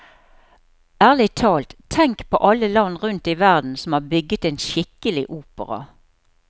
Ærlig talt, tenk på alle land rundt i verden som har bygget en skikkelig opera.